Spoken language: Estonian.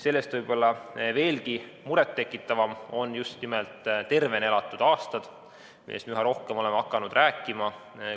Sellest võib-olla veelgi muret tekitavam on just nimelt tervena elatud aastate arv, millest me üha rohkem oleme hakanud rääkima.